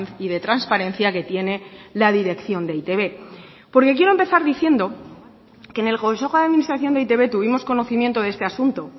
y de transparencia que tiene la dirección de e i te be porque quiero empezar diciendo que en el consejo de administración de e i te be tuvimos conocimiento de este asunto